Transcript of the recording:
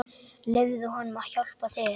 Leyfðu honum að hjálpa þér.